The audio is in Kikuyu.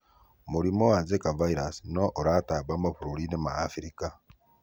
Mũrimũ wa Zika virus no ũratamba mabũruriinĩ ma Afrika.